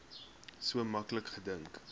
so maklik gedink